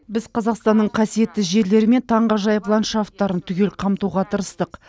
біз қазақстанның қасиетті жерлері мен таңғажайып ландшафтарын түгел қамтуға тырыстық